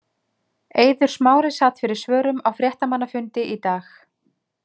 Eiður Smári sat fyrir svörum á fréttamannafundi í dag.